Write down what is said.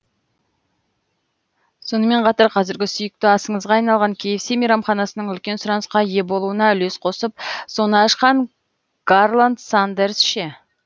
сонымен қатар қазіргі сүйікті асыңызға айналған кғс мейрамханасының үлкен сұранысқа ие болуына үлес қосып соны ашқан гарланд сандерс ше